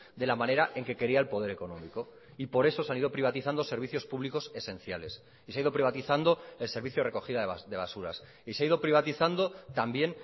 de la manera en que quería el poder económico y por eso se han ido privatizando servicios públicos esenciales y se ha ido privatizando el servicio de recogida de basuras y se ha ido privatizando también